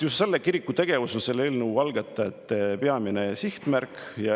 Just selle kiriku tegevus on selle eelnõu algatajate peamine sihtmärk.